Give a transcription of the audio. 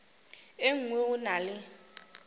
e nngwe go na le